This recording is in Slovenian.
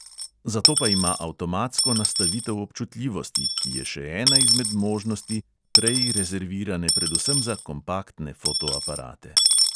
Zato pa ima avtomatsko nastavitev občutljivosti, ki je še ena izmed možnosti, prej rezervirane predvsem za kompaktne fotoaparate.